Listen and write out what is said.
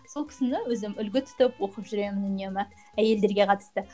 сол кісіні өзім үлгі тұтып оқып жүремін үнемі әйелдерге қатысты